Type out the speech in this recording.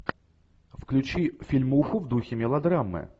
включи фильмуху в духе мелодрамы